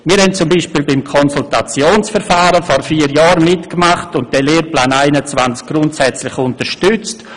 Wir haben beispielsweise beim Konsultationsverfahren vor vier Jahren mitgemacht und den Lehrplan 21 grundsätzlich unterstützt.